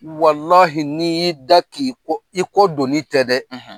n'i y'i da k'i ko i ko don' tɛ dɛ